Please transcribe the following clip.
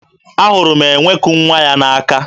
Ahụrụ m enwe ku nwa ya n'aka.